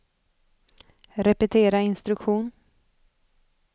repetera instruktion